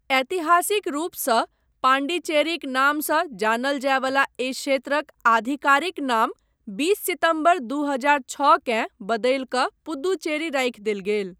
ऐतिहासिक रूपसँ पाण्डिचेरीक नामसँ जानल जायवला एहि क्षेत्रक आधिकारिक नाम बीस सितम्बर दू हजार छओकेँ बदलि कऽ पुद्दुचेरी राखि देल गेल।